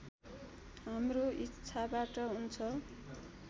हाम्रो इच्छाबाट हुन्छ